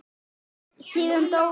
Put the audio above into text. Síðan dó Jökull, segir sagan.